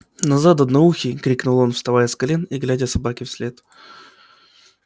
назад одноухий крикнул он вставая с колен и глядя собаке вслед